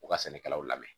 U ka sɛnɛkɛlaw lamɛn